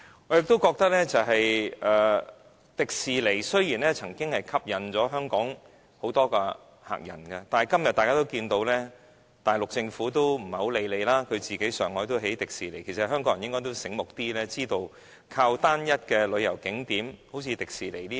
我認為，迪士尼樂園雖然曾為香港吸引很多旅客，但今天大家也可看到，大陸政府已不太理會我們，在上海也興建迪士尼樂園，香港人應該醒目一點，知道不能靠單一的旅遊景點如迪士尼樂園等。